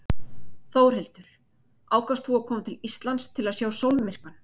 Þórhildur: Ákvaðst þú að koma til Íslands til að sjá sólmyrkvann?